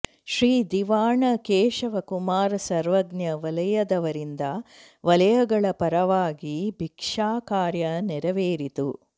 ಶ್ರೀ ದಿವಾಣ ಕೇಶವ ಕುಮಾರ್ ಸರ್ವಜ್ಞ ವಲಯದವರಿಂದ ವಲಯಗಳ ಪರವಾಗಿ ಭಿಕ್ಷಾಕಾರ್ಯ ನೆರವೇರಿತು